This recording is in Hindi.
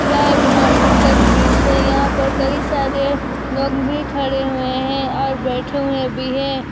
यह एक मार्केट का दृश्य है यहां पर कई सारे लोग भी खड़े हुए हैं और बैठे हुए भी हैं।